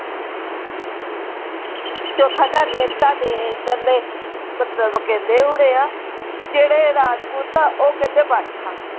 ਚੌਥਾ ਤਾਡੇ ਤਾਡੇ ਏਧਰਲੇ ਮਤਲਬ ਕਹਿੰਦੇ ਹੋਣੇ ਆ ਜਿਹੜੇ ਰਾਜਪੂਤ ਆ ਉਹ ਕਹਿੰਦੇ ਬਾਠਾ।